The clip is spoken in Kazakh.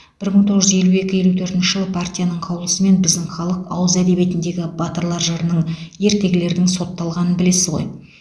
бір мың тоғыз жүз елу екі елу төртінші жылы партияның қаулысымен біздің халық ауыз әдебиетіндегі батырлар жырының ертегілердің сотталғанын білесіз ғой